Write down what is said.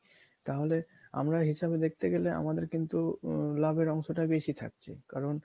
তাহলে আমরা হিসাবে দেখতে গেলে আমাদের কিন্তু লাভের অংশ টা বেশি থাকছে কারণ